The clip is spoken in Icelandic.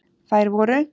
Þær voru: